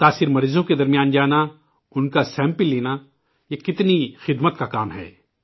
متاثرہ مریضوں کے درمیان جانا، انکا سمپل لینا، یہ کتنی بڑی خدمت ہے